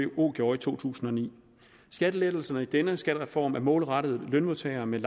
vko gjorde i to tusind og ni skattelettelserne i denne skattereform er målrettet lønmodtagere med